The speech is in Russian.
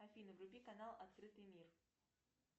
афина вруби канал открытый мир